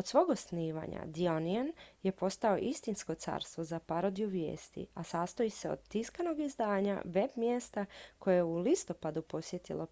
od svog osnivanja the onion je postao istinsko carstvo za parodiju vijesti a sastoji se od tiskanog izdanja web-mjesta koje je u listopadu posjetilo